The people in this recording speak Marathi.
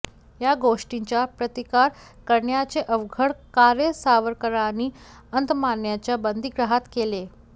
या गोष्टींचा प्रतिकार करण्याचे अवघड कार्य सावरकरांनी अंदमानच्या बंदीगृहात केले